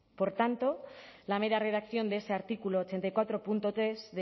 por tanto la mera redacción de ese artículo ochenta y cuatro punto tres